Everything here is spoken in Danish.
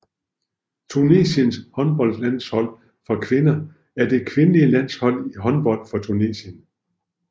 Tunesiens håndboldlandshold for kvinder er det kvindelige landshold i håndbold for Tunesien